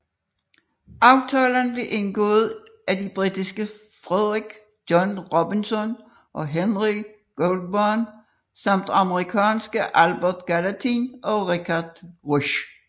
Aftalen blev indgået af de britiske Frederick John Robinson og Henry Goulburn samt amerikanske Albert Gallatin og Richard Rush